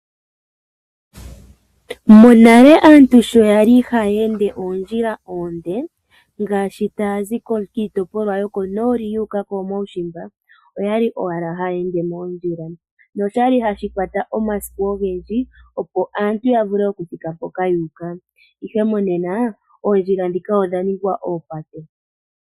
Monale aantu sho ya li haya oondjila oonde, ngaashi tayazi kiitopolwa yokonooli yu uka komaushimba, oya li owala haya ende moondjila, noshali hashi kwata omasiku ogendji, opo aantu yavule okuthika mpoka yu uka. Ihe monena, oondjila ndhika odha ningwa oopate.